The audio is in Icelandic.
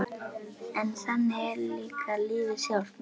En þannig er líka lífið sjálft- margvíslegt lífið.